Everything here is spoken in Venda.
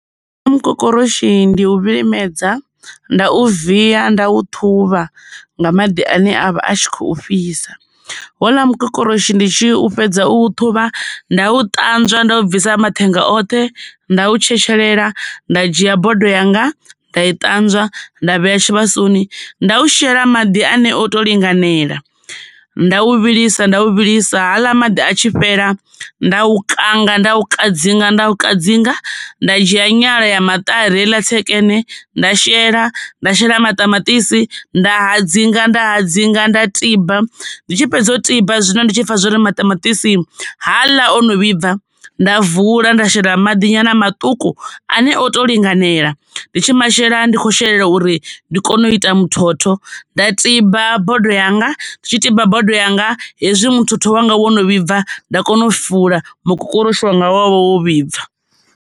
Mukokoroshi ndi u vhilimedza, nda u via, nda u ṱhuvha nga maḓi ane avha a tshi kho fhisa. Houla mukokoroshi ndi tshi fhedza u ṱhuvha nda u ṱanzwa nda u bvisa mathenga oṱhe nda u tshetshelela, nda dzhia bodo yanga nda i ṱanzwa nda vhea tshivhasoni nda u shela maḓi ane oto linganela. Nda u vhilisa nda u vhilisa, haaḽa maḓi a tshi fhela nda u kanga nda u kadzinga nda u kadzinga nda dzhia nyala ya maṱari heila ni tsekene nda shela nda shela maṱamaṱisi. Nda hadzinga nda hadzinga nda tiba, ndi tshi fhedza u tiba zwino ndi tshi pfha zwori maṱamaṱisi haaḽa o no vhibva, nda vula nda shela maḓi nyana maṱuku ane oto linganela. Ndi tshi masheleni ndi kho shelela uri ndi kone u ita muthotho nda tiba bodo yanga ndi tshi tiba bodo yanga hezwi muthu wanga wo no vhibva nda kona u fula mukokoroshi wa nga wavha wo vhibva.